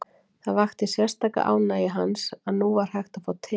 Það vakti sérstaka ánægju hans að nú var hægt að fá te.